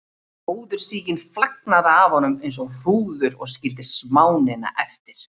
Móðursýkin flagnaði af honum eins og hrúður og skildi smánina eftir.